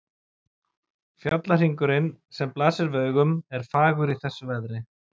Fjallahringurinn, sem blasir við augum, er fagur í þessu veðri.